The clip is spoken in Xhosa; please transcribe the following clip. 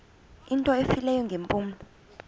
into efileyo ngeempumlo